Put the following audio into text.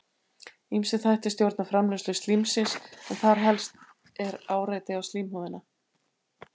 Ýmsir þættir stjórna framleiðslu slímsins en þar helst er áreiti á slímhúðina.